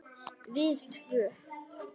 Við tvö.